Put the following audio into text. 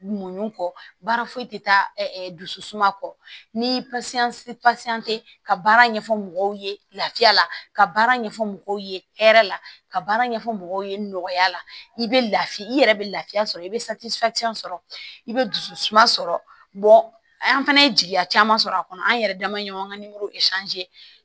Muɲu kɔ baara foyi tɛ taa dusu suma kɔ ni tɛ ka baara ɲɛfɔ mɔgɔw ye lafiya la ka baara ɲɛfɔ mɔgɔw ye hɛrɛ la ka baara ɲɛfɔ mɔgɔw ye nɔya la i bɛ lafiya i yɛrɛ bɛ lafiya sɔrɔ i bɛ sɔrɔ i bɛ dusu suma sɔrɔ an fana ye jigiya caman sɔrɔ a kɔnɔ an yɛrɛ dama ɲɔgɔn ka nimoro